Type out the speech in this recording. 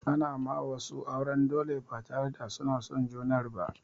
Ana ma wasu auren dole ba tare da suna son junar ba.